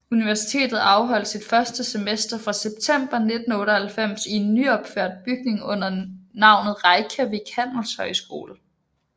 Universitetet afholdt sit første semester fra september 1998 i en nyopført bygning under navnet Reykjavík Handelshøjskole